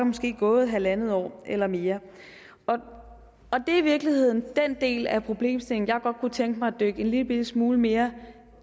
måske gået halvandet år eller mere det er i virkeligheden den del af problemstillingen jeg godt kunne tænke mig at dykke en lillebitte smule mere